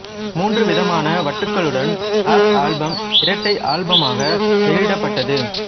மூன்று விதமான வட்டுகளுடன் அப் ஆல்பம் இரட்டை ஆல்பமாக வெளிவிடப்பட்டது